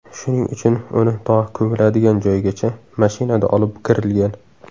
Shuning uchun uni to ko‘miladigan joygacha mashinada olib kirilgan.